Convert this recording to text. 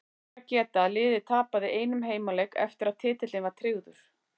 Þess ber að geta að liðið tapaði einum heimaleik eftir að titillinn var tryggður.